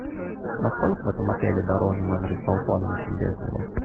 насколько в этом отеле дороже номер с балконом чем без него